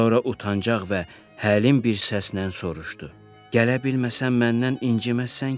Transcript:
Sonra utancaq və həlim bir səslə soruşdu: Gələ bilməsəm məndən inciməzsən ki?